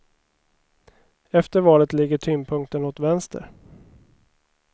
Efter valet ligger tyngdpunkten åt vänster.